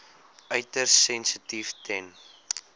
uiters sensitief ten